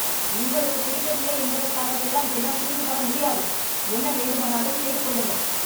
உங்களுக்கு பிடிக்கவில்லை என்பதற்காகவெல்லாம் என்னால் திரும்பி வர முடியாது.. என்ன வேண்டுமானாலும் செய்து கொள்ளுங்கள்